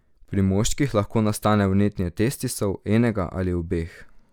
Pri moških lahko nastane vnetje testisov, enega ali obeh.